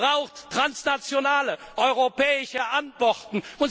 brauchen transnationale europäische Antworten.